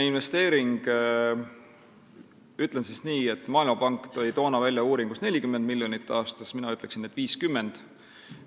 Ütlen siis nii, et Maailmapank tõi toona uuringus esimese investeeringuna välja 40 miljonit aastas, mina ütleksin, et 50 miljonit.